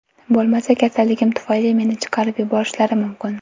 Bo‘lmasa kasalligim tufayli meni chiqarib yuborishlari mumkin.